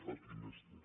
a qui més té